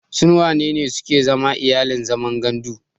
Sun wanene suke zama iyalin zaman gandu?